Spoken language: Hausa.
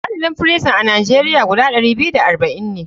Adadin firison a nigeria guda ɗari biyu da arba'in ne.